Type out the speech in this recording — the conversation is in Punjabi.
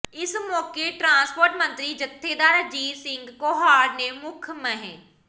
ਇਸ ਮੌਕੇ ਟਰਾਂਸਪੋਰਟ ਮੰਤਰੀ ਜਥੇਦਾਰ ਅਜੀਤ ਸਿੰਘ ਕੋਹਾੜ ਨੇ ਮੁੱਖ ਮਹਿ